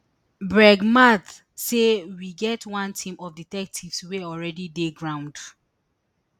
brig mathe say we get one team of detectives wey already dey ground